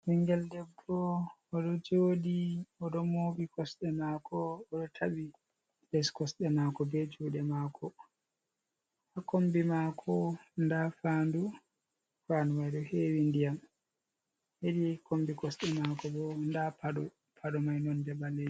Ɓingel debbo o ɗo jooɗi, o ɗo mooɓi kosɗe maako, o ɗo taɓi les kosɗe maako be juuɗe maako. Ha kombi maako nda faandu, faandu mai ɗo hewi ndiyam. Hedi kombi kosɗe maako bo nda paɗo, paɗo mai nonde ɓaleejum.